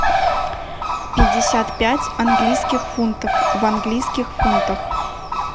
пятьдесят пять английских фунтов в английских фунтах